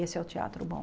Esse é o teatro bom.